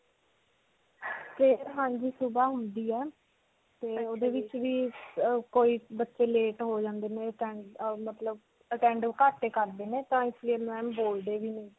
prayer, ਹਾਂਜੀ ਸੁਭਾ ਹੁੰਦੀ ਹੈ. ਤੇ ਓਦੇ ਵਿੱਚ ਵੀ ਕੋਈ ਬੱਚੇ late ਹੋ ਜਾਂਦੇ ਨੇ ਮਤਲਬ ਘੱਟ ਤਾਂ ਇਸ ਲਈ ma'am ਬੋਲਦੇ ਵੀ ਨੇ.